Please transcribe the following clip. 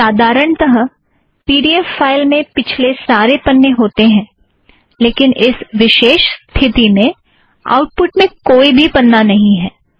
साधारणतः P D F file में पिछले सारे पन्ने होतें हैं लेकिन इस विशेष स्थिति में आउटपुट में कोई भी पन्ना नहीं है